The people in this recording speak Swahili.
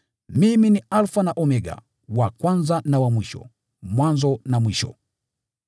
Mimi ni Alfa na Omega, wa Kwanza na wa Mwisho, Mwanzo na Mwisho.